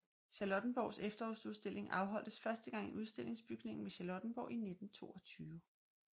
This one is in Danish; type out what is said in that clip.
Charlottenborgs Efterårsudstilling afholdtes første gang i Udstillingsbygningen ved Charlottenborg i 1922